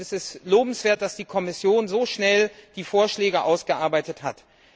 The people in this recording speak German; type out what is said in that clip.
Es ist lobenswert, dass die Kommission so schnell die Vorschläge ausgearbeitet hat.